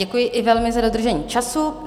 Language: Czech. Děkuji i velmi za dodržení času.